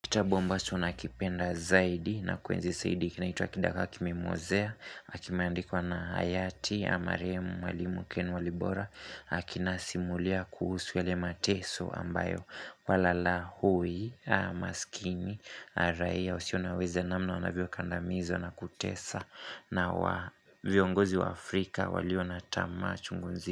Kitabu ambacho nakipenda zaidi na kuenzi zaidi kinaitwa kidagaa kimemwozea na kimandikuwa na Hayati, au marahemu, mwalimu, ken walibora na kinasimulia kuhusu yale mateso ambayo Walalahoi, masikini, na raia, wasio na uwezo namna wanavyo kandamizwa na kutesa na viongozi wa Afrika walio natamaa chungu nzi.